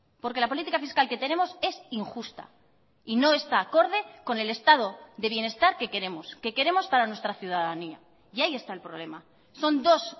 porque la política fiscal que tenemos es injusta y no está acorde con el estado de bienestar que queremos que queremos para nuestra ciudadanía y ahí está el problema son dos